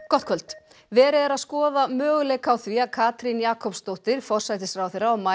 gott kvöld verið er að skoða möguleika á því að Katrín Jakobsdóttir forsætisráðherra og